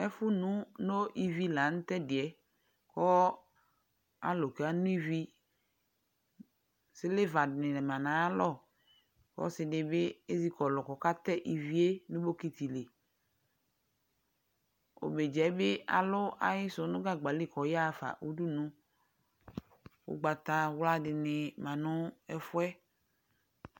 Ɛfʋnʋ no ivi la nʋ tʋ ɛdɩ yɛ kʋ alʋ kano ivi Sɩlva dɩnɩ ma nʋ ayalɔ kʋ ɔsɩ dɩ bɩ ezikɔlʋ kʋ ɔkatɛ ivi yɛ dʋ nʋ bɔkɩtɩ li Omedzǝ yɛ bɩ alʋ ayɩsʋ yɛ nʋ gagba li kʋ ɔyaɣa fa udunu Ʋgbatawla dɩnɩ ma nʋ ɛfʋ yɛ